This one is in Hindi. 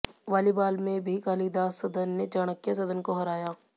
वालीबाल में भी कालिदास सदन ने चाणक्य सदन को हराया